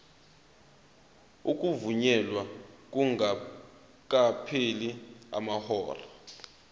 ukuvunyelwa kungakapheli amahora